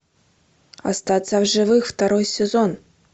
остаться в живых второй сезон